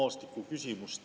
Helle‑Moonika Helme, palun!